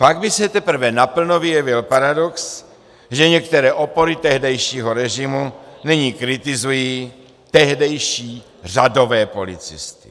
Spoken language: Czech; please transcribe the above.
Pak by se teprve naplno vyjevil paradox, že některé opory tehdejšího režimu nyní kritizují tehdejší řadové policisty.